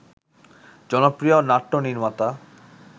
জনপ্রিয় নাট্যনির্মাতা